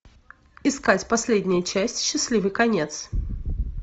искать последняя часть счастливый конец